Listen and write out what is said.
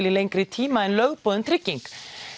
í lengri tíma en lögboðin trygging